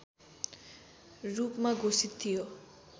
रूपमा घोषित थियो